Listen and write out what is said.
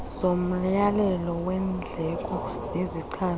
zomyalelo weendleko nezichaza